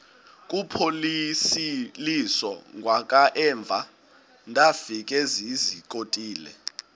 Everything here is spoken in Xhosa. kuphosiliso kwangaemva ndafikezizikotile